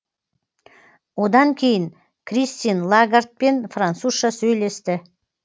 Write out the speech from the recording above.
одан кейін кристин лагардпен французша сөйлесті